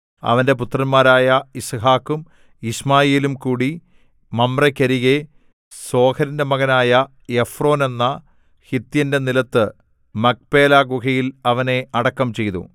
അവന്റെ പുത്രന്മാരായ യിസ്ഹാക്കും യിശ്മായേലും കൂടി മമ്രേക്കരികെ സോഹരിന്റെ മകനായ എഫ്രോനെന്ന ഹിത്യന്റെ നിലത്ത് മക്പേലാഗുഹയിൽ അവനെ അടക്കം ചെയ്തു